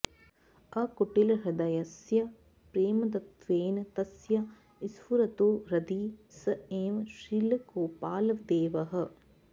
अकुटिलहृदयस्य प्रेमदत्वेन तस्य स्फुरतु हृदि स एव श्रीलगोपालदेवः